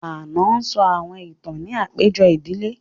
Ànọ́ sọ àwọn ìtàn ní àpéjọ ìdílé